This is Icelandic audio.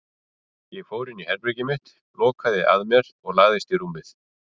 Ég fór inn í herbergið mitt, lokaði að mér og lagðist á rúmið.